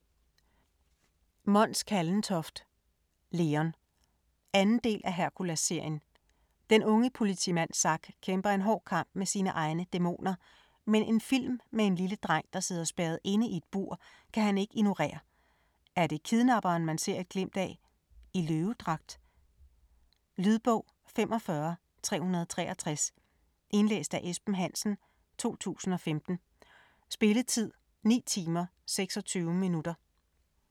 Kallentoft, Mons: Leon 2. del af Herkulesserien. Den unge politimand Zack kæmper en hård kamp med sine egne dæmoner, men en film med en lille dreng der sidder spærret inde i et bur, kan han ikke ignorere. Er det kidnapperen man ser et glimt af - i løvedragt? Lydbog 45363 Indlæst af Esben Hansen, 2015. Spilletid: 9 timer, 26 minutter.